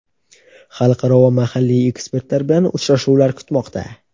xalqaro va mahalliy ekspertlar bilan uchrashuvlar kutmoqda!.